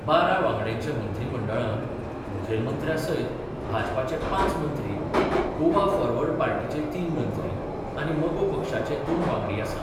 बारा वांगड्यांच्या मंत्रीमंडळांत मुखेलमंत्र्या सयत भाजपाचे पांच मंत्री, गोवा फॉरवर्ड पार्टीचे तीन मंत्री आनी मगो पक्षाचे दोन वांगडी आसात.